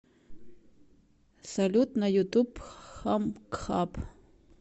салют на ютуб хамкхаб